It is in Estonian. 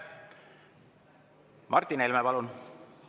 Martin Helme, palun!